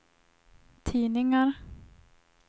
tidningar